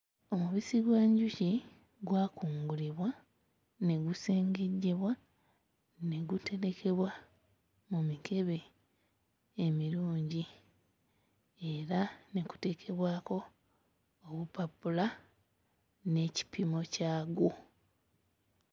Omubisi gw'enjuki gwakungulibwa ne gusengejjebwa ne guterekebwa mu mikebe emirungi era ne kuteekebwako obupapula n'ekipimo kyagwo.